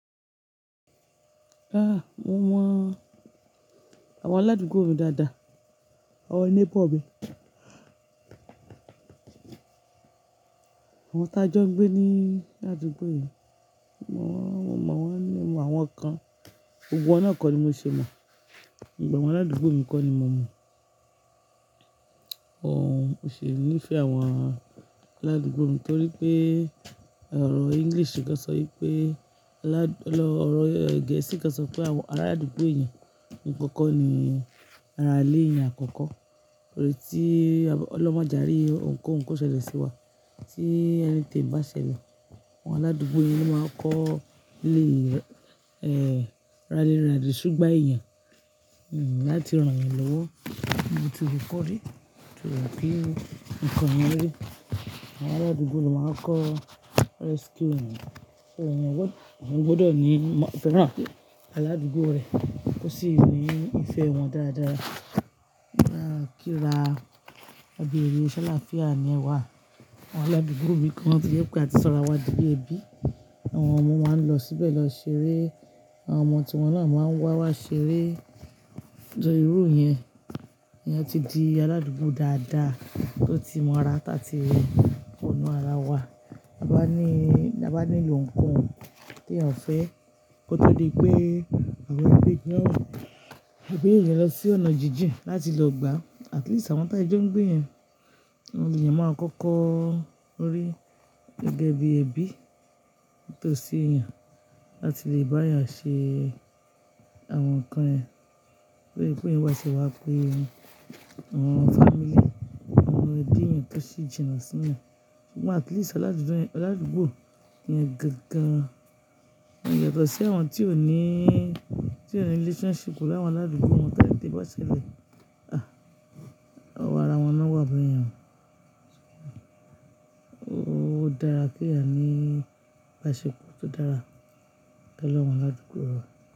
Ah! Mo mọ àwọn aládúgbò mi dáadáa, àwọn neighbor mi. Àwọn tí a jọ ń gbé ní aládúgbò yìí, mo mọ̀ wọ́n mo mawọn kan. Gbogbo wa náà kọ́ ni mo ṣe mọ̀, gbogbo awọ́n aládúgbò mi kọ́ ni mo mọ̀. Uhh mò ṣe ní ìfẹ́ àwọn aládúgbò mi torí pé ọ̀rọ̀ English kan sọ pé aládùn-- ọ̀rọ̀ Gẹ̀ẹ́sì kan sọ pé àwọn aládúgbò eyan gbogbo won kọ́ni ara ilé eyan àkọ́kọ́. Torí tí ọlọ́un maje ari òunkọ́un koṣẹlẹ̀ sí wa, tí anything bá ṣẹlẹ̀, àwọn aládúgbò yi ló máa kọ́ lé, eh, rally round ṣúgbà eyan, hm, láti rán yan lọ́wọ́. Bí mo ti rí kọ́ rí, torí pé nǹkan yẹn rí. Àwọn aládùúgbò ló máa ń kọ́ rescue ẹ̀, ẹ̀yin gbọdọ̀ ní, fẹ́ràn aládùúgbò rẹ, ó sì ní ìfẹ́ wọn dáadáa. À kí ra, ẹbí mi, Ṣọlá fìyà ni ẹ wá. Àwọn aládùúgbò mi kan ti yóò pé àti sanra wá di bí ẹbí. Àwọn ọmọ máa ń lọ síbẹ̀ lọ ṣeré, àwọn ọmọ tí wọ́n náà máa ń wá wá ṣeré. Ọjọ́ irú yẹn, èèyàn ti di aládùúgbò dáadáa tó ti mọ ara táà tí rí ọ̀nà ara wa. A bá ní, a bá nílò ǹkan tí a ò fẹ́ kó tó rí pé àwọn ẹbí yẹn, ẹbí yẹn lọ sí ọ̀nà jíjìn láti lọ gbà. At least àwọn tí a jó ń gbé yẹn, àwọn èèyàn máa ń kankan rí gẹ́gẹ́ bí ẹbí tó ṣe yàn láti lè bá yàn ṣe àwọn nǹkan ẹ. Torí pé yín wá sí wa pé àwọn family, àwọn ẹbí yẹn tó sì jìnà sílẹ̀. Ṣùgbọ́n at least aládùúgbò, aládùúgbò yẹn gangan, wọ́n yàtọ̀ sí àwọn tí ò ní, tí ò ní relationship láwọn aládùúgbò wọn táyé dé bá ṣẹlẹ̀. Ah! Ọwọ́ ara wọn náà wà báyẹn. Ó dára kí a ní ìbáṣepọ̀ tó dára pẹ̀lú àwọn aládùúgbò wa.